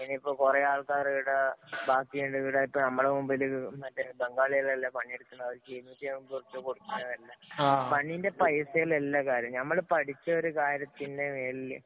ഇനിയിപ്പോ കൊറേ ആള്‍ക്കാരിവിടെ ബാക്കിയുള്ളവര് ഇവിടെ നമ്മുടെ മുമ്പില് മറ്റേ ബംഗാളികളല്ലേ പണിയെടുക്കുന്നത് ഇരുന്നൂറ്റിയമ്പത് ഉറുപ്പിക കൊടുക്ക്‌മ്പോള്‍ തന്നെ. പണീന്‍റെ പൈസയിലല്ല കാര്യം. ഞമ്മള് പഠിച്ച ഒരു കാര്യത്തിന്‍റെ മേളില്